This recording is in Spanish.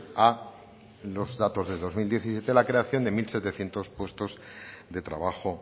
a los datos del dos mil diecisiete la creación de mil setecientos puestos de trabajo